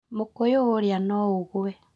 Mũkũyũ ũrĩa no ũgũe